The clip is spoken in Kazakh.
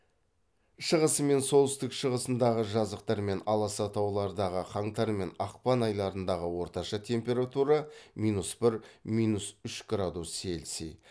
шығысы мен солтүстік шығысындағы жазықтар мен аласа таулардағы қаңтар мен ақпан айларындағы орташа температура минус бір минус үш градус цельсий